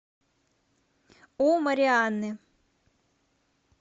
у марианны